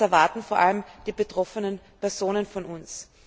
Das erwarten vor allem die betroffenen Personen von uns.